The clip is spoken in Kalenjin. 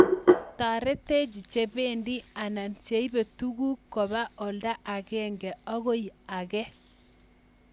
taretech che pendi anan cheibe tuguk koba olda agengei akoi age